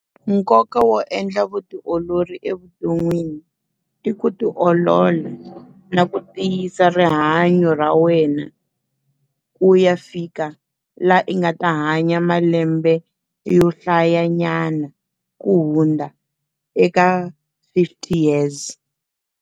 Nkoka wo endla vutiolori evuton'wini, i ku ti olola na ku tiyisa rihanyo ra wena. Ku ya fika laha i nga ta hanya malembe yo hlaya nyana ku hundza eka fifty years.